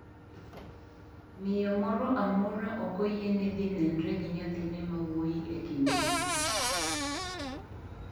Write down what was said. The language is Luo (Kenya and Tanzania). Miyo moro amora ok oyiene dhi nenre gi nyathine mawuoyi e kindegi.